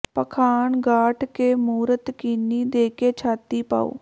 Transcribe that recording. ਪਾਖਾਨ ਗਾਢਿ ਕੈ ਮੂਰਤਿ ਕੀਨੀ ਦੇ ਕੈ ਛਾਤੀ ਪਾਉ